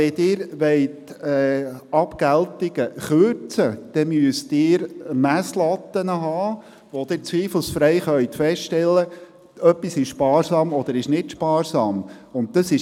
Wenn Sie Abgeltungen kürzen wollen, müssen Sie Messlatten haben, um zweifelsfrei feststellen zu können, was sparsam und was nicht sparsam ist.